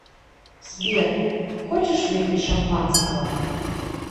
сбер хочешь выпить шампанского